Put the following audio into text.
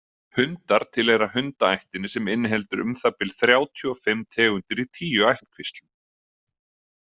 Hundar tilheyra hundaættinni sem inniheldur um það bil þrjátíu og fimm tegundir í tíu ættkvíslum.